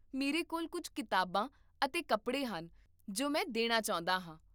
ਮੇਰੇ ਕੋਲ ਕੁੱਝ ਕਿਤਾਬਾਂ ਅਤੇ ਕੱਪੜੇ ਹਨ ਜੋ ਮੈਂ ਦੇਣਾ ਚਾਹੁੰਦਾ ਹਾਂ